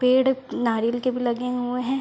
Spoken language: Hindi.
पेड़ नारयल के भी लगे हुऐं हैं।